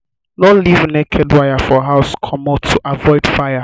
no leave naked wire for house comot to avoid fire